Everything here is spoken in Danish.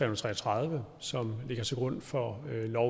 og tre og tredive som ligger til grund for lov